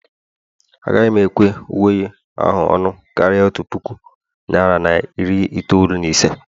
Agaghị m ekwe uwe ahụ ọnụ karịa otu puku naira na iri itoolu na ise